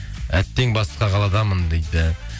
әттең басқа қаладамын дейді